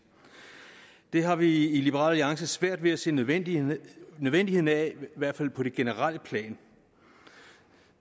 det har vi i liberal alliance svært ved at se nødvendigheden nødvendigheden af i hvert fald på det generelle plan